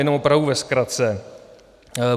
Jenom opravdu ve zkratce.